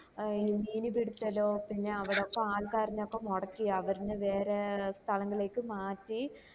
ഏർ ഈ മീൻ പിടിച്ചതോ പിന്നെ അവിടൊക്കെ ആൾക്കാര്നെ ഒക്കെ മൊടക്കി ആവരനെ വേറെ സ്ഥലങ്ങളിക്കെ മാറ്റി